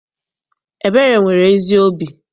Ebere nwere ezi obi.